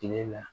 Tile la